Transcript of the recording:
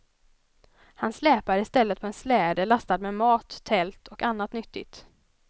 Han släpar i stället på en släde lastad med mat, tält och annat nyttigt.